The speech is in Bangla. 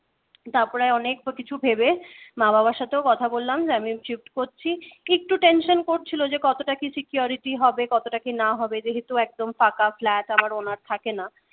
তারপরে অনেক কিছু ভেবে মা বাবার সাথেও কথা বললাম যে, আমি shift করছি একটু tenson করছিল যে কতটা কি security হবে কতটা কি না হবে যেহেতু একদম ফাঁকা flat আমার owner থাকে না